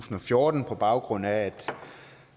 tusind og fjorten på baggrund af at